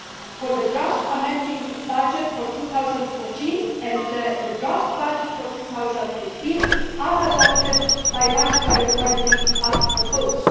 for the draft amending budget for 2014 and the draft budget for 2015 are adopted by the budgetary authority as proposed.